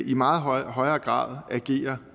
i meget højere grad agerer